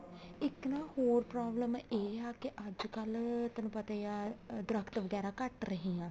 ਇੱਕ ਨਾ ਹੋਰ problem ਇਹ ਆ ਕੇ ਅੱਜਕਲ ਤੈਨੂੰ ਪਤਾ ਹੀ ਆ ਦਰਖਤ ਵਗੈਰਾ ਘੱਟ ਰਹੇ ਆ